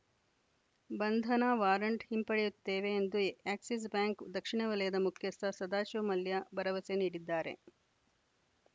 ಬಂಧನ ವಾರಂಟ್‌ ಹಿಂಪಡೆಯುತ್ತೇವೆ ಎಂದು ಎಕ್ಸಿಸ್‌ ಬ್ಯಾಂಕ್‌ ದಕ್ಷಿಣ ವಲಯದ ಮುಖ್ಯಸ್ಥ ಸದಾಶಿವ ಮಲ್ಯ ಭರವಸೆ ನೀಡಿದ್ದಾರೆ